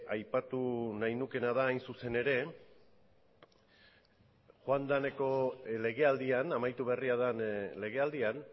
aipatu nahi nukeena da hain zuzen ere joandako legealdian amaitu berria den legealdian